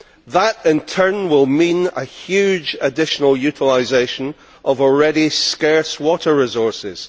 That in turn will mean a huge additional utilisation of already scarce water resources.